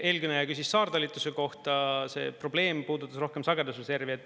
Eelkõneleja küsis saartalituse kohta, see probleem puudutas rohkem sagedusreservi.